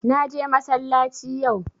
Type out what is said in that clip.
Na je massalaci yau